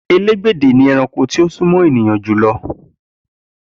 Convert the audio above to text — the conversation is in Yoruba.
Elégbèdè ni ẹranko tó sún mọ́ ènìyàn jù lọ